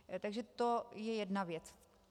Takže to je jedna věc.